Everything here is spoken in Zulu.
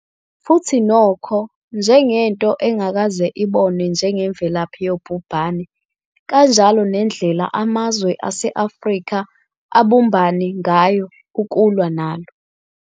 Futhi nokho, njengento engakaze ibonwe njengemvelaphi yobhubhane, kanjalo nendlela amazwe ase-Afrika abumbane ngayo ukulwa nalo.